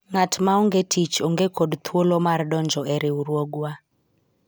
ng'at ma onge tich onge kod thuolo mar donjo e riwruogwa